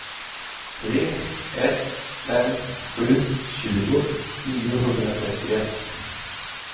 tre ett fem sju tjugo niohundratrettioett